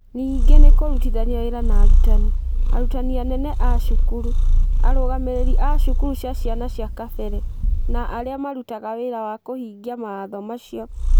Ningĩ nĩ kũrutithania wĩra na arutani, arutani anene a cukuru, arũgamĩrĩri a cukuru cia ciana cia kabere, na arĩa marutaga wĩra wa kũhingia mawatho macio